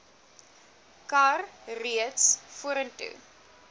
kar reeds vorentoe